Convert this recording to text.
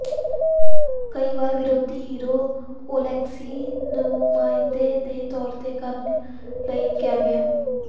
ਕਈ ਵਾਰ ਵਿਰੋਧੀ ਹੀਰੋ ਔਲੇਕਸੀ ਨੁਮਾਇੰਦੇ ਦੇ ਤੌਰ ਤੇ ਕਰਨ ਲਈ ਕਿਹਾ ਗਿਆ